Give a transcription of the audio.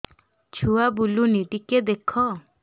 ଛୁଆ ବୁଲୁନି ଟିକେ ଦେଖ